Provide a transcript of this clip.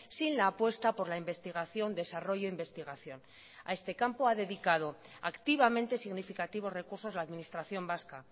sin la apuesta por la investigación desarrollo investigación a este campo ha dedicado activamente significativos recursos la administración vasca